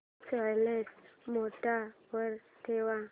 silent mode वर ठेव